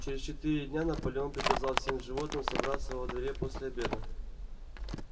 через четыре дня наполеон приказал всем животным собраться во дворе после обеда